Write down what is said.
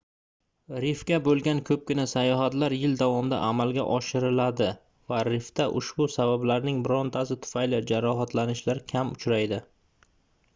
rifga boʻlgan koʻpgina sayohatlar yil davomida amalga oshiriladi va rifda ushbu sabablarning birortasi tufayli jarohatlanishlar kam uchraydi